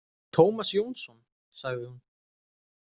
Tómas Jónsson, sagði hún.